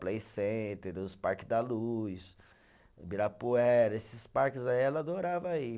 Play Center, os parques da luz, Ibirapuera, esses parques aí ela adorava ir.